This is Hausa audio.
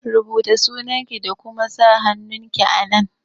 Rubuta sunanki da kuma sa hannunki a nan!